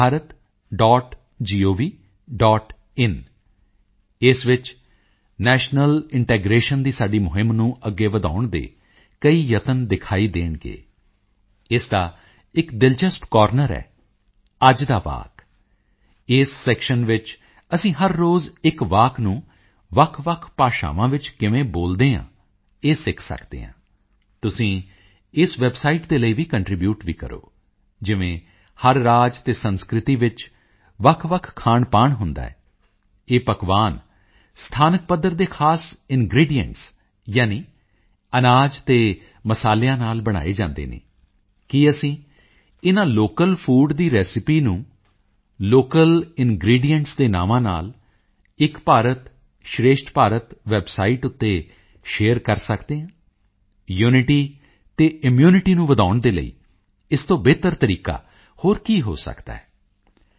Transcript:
in Ek Bharat dot gov dot in ਇਸ ਵਿੱਚ national integration ਦੀ ਸਾਡੀ ਮੁਹਿੰਮ ਨੂੰ ਅੱਗੇ ਵਧਾਉਣ ਦੇ ਕਈ ਯਤਨ ਦਿਖਾਈ ਦੇਣਗੇ ਇਸ ਦਾ ਇੱਕ ਦਿਲਚਸਪ ਕੋਰਨਰ ਹੈ ਅੱਜ ਦਾ ਵਾਕ ਇਸ ਸੈਕਸ਼ਨ ਵਿੱਚ ਅਸੀਂ ਹਰ ਰੋਜ਼ ਇੱਕ ਵਾਕ ਨੂੰ ਵੱਖਵੱਖ ਭਾਸ਼ਾਵਾਂ ਵਿੱਚ ਕਿਵੇਂ ਬੋਲਦੇ ਹਨ ਇਹ ਸਿੱਖ ਸਕਦੇ ਹਾਂ ਤੁਸੀਂ ਇਸ ਵੈਬਸਾਈਟ ਦੇ ਲਈ ਕੰਟਰੀਬਿਊਟ ਵੀ ਕਰੋ ਜਿਵੇਂ ਹਰ ਰਾਜ ਅਤੇ ਸੰਸਕ੍ਰਿਤੀ ਵਿੱਚ ਵੱਖਵੱਖ ਖਾਣਪਾਣ ਹੁੰਦਾ ਹੈ ਇਹ ਪਕਵਾਨ ਸਥਾਨਕ ਪੱਧਰ ਦੇ ਖਾਸ ਇਨਗ੍ਰੀਡੀਐਂਟਸ ਯਾਨੀ ਅਨਾਜ ਅਤੇ ਮਸਾਲਿਆਂ ਨਾਲ ਬਣਾਏ ਜਾਂਦੇ ਹਨ ਕੀ ਅਸੀਂ ਇਨ੍ਹਾਂ ਲੋਕਲ ਫੂਡ ਦੀ ਰੇਸੀਪੀ ਨੂੰ ਲੋਕਲ ਇਨਗ੍ਰੀਡੀਐਂਟਸ ਦੇ ਨਾਵਾਂ ਨਾਲ ਏਕ ਭਾਰਤ ਸ਼੍ਰੇਸ਼ਠ ਭਾਰਤ ਵੈਬਸਾਈਟ ਉੱਤੇ ਸ਼ੇਅਰ ਕਰ ਸਕਦੇ ਹਾਂ ਯੂਨਿਟੀ ਅਤੇ ਇਮਿਊਨਿਟੀ ਨੂੰ ਵਧਾਉਣ ਦੇ ਲਈ ਇਸ ਤੋਂ ਬਿਹਤਰ ਤਰੀਕਾ ਹੋਰ ਕੀ ਹੋ ਸਕਦਾ ਹੈ